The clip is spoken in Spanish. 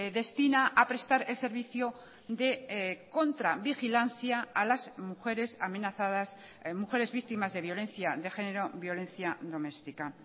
destina a prestar el servicio de contravigilancia a las mujeres amenazadas mujeres víctimas de violencia de género violencia doméstica